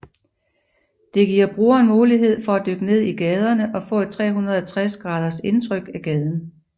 Det giver brugeren mulighed for at dykke ned i gaderne og få et 360 graders indtryk af gaden